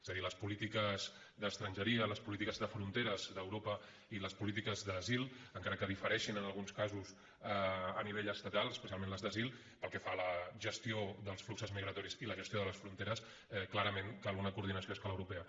és a dir les polítiques d’estrangeria les polítiques de fronteres d’europa i les polítiques d’asil encara que diferei·xin en alguns casos a nivell estatal especialment les d’asil pel que fa a la gestió dels fluxos migratoris i la gestió de les fronteres clarament cal una coordinació a escala europea